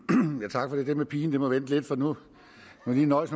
tak for det det med pigen må vente lidt for nu må man lige nøjes